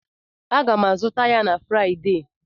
Aga m azụta ya na Fraịdee.